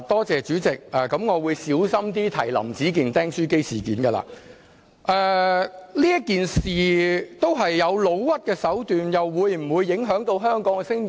主席，我會小心點提及"林子健釘書機事件"，這事件涉及誣衊的手段，又會否影響到香港的聲譽？